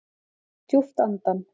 Dragi djúpt andann